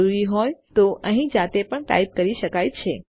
જરૂરી હોય તો અહીં જાતે પણ ટાઇપ કરી શકાય છે